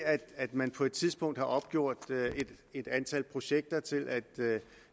at man på et tidspunkt har opgjort et antal projekter til at